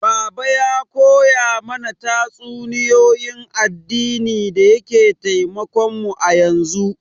Baba ya koya mana tatsuniyoyin addini da yake taimakon mu yanzu